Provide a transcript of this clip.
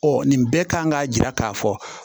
nin bɛɛ kan ka yira k'a fɔ